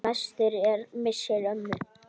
En mestur er missir ömmu.